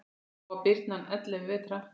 Þá var birnan ellefu vetra.